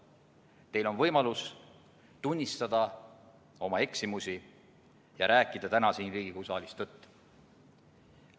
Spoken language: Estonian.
Teil on võimalus tunnistada oma eksimusi ja rääkida täna siin Riigikogu saalis tõtt.